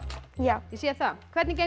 já ég sé það hvernig gengur